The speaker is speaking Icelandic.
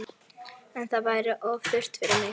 En það væri of þurrt fyrir mig